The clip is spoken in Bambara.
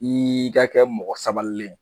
I ka kɛ mɔgɔ sabalilen ye